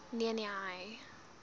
nee nee hy